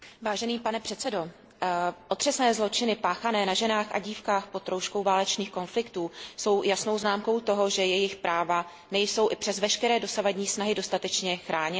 Pane předsedající, otřesné zločiny páchané na ženách a dívkách pod rouškou válečných konfliktů jsou jasnou známkou toho, že jejich práva nejsou i přes veškeré dosavadní snahy dostatečně chráněna.